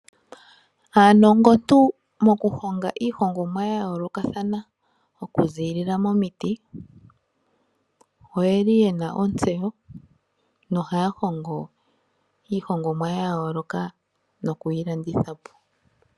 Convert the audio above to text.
Aanongontu mokuhonga iihongomwa ya yoolokathana okuzilila momiti oye li ye na ontseyo no haya hongo iihongomwa ya yooloka nokuyi landithapo.